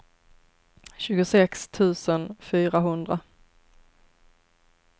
tjugosex tusen fyrahundra